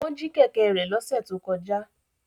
Wọ́n jí kẹ̀kẹ́ rẹ̀ lọ́sẹ̀ tó kọjá